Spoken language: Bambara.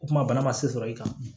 O kuma bana ma se sɔrɔ i kan